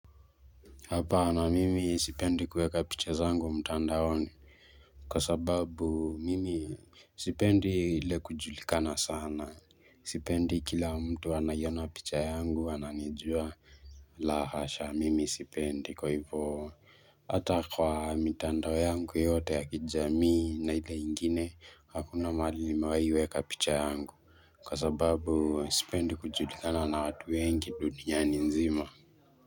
Hapana mimi sipendi kuweka picha zangu mtandaoni, kwa sababu mimi sipendi ile kujulikana sana, sipendi kila mtu anaiona picha yangu ananijua la hasha, mimi sipendi kwa ivo hata kwa mitando yangu yote ya kijamii na ile ingine hakuna mahali nimewahi weka picha yangu, kwa sababu sipendi kujulikana na watu wengi duniani nzima.